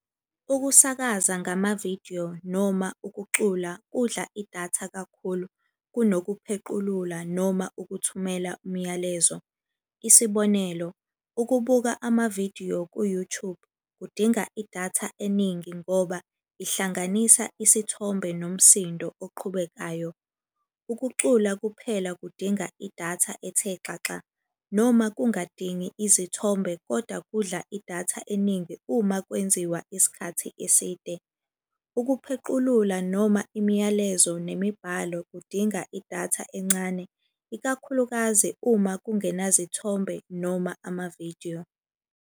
Ukusakaza ngamavidiyo noma ukucula kudla idatha kakhulu kunokuphequlula noma ukuthumela umyalezo. Isibonelo, ukubuka amavidiyo ku-YouTube kudinga idatha eningi ngoba ihlanganisa isithombe nomsindo oqhubekayo. Ukucula kuphela kudinga idatha ethe xaxa, noma kungadingi izithombe koda kudla idatha eningi uma kwenziwa isikhathi eside. Ukuphequlula noma imiyalezo nemibhalo kudinga idatha encane, ikakhulukazi uma kungenazithombe noma amavidiyo.